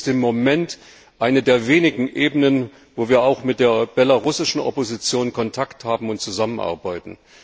Es ist im Moment eine der wenigen Ebenen, wo wir auch mit der belarussischen Opposition Kontakt haben und zusammenarbeiten.